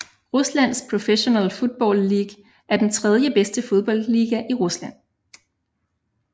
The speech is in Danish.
Ruslands Professional Football League er den tredje bedste fodboldliga i Rusland